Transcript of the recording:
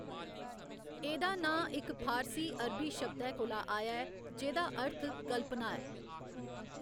एह्‌‌‌दा नांऽ इक फारसी, अरबी शब्दै कोला आया ऐ जेह्‌दा् अर्थ कल्पना ऐ।